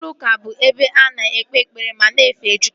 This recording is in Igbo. Ụlọ ụka bụ ebe a na-ekpe ekpere ma na-efe Chukwu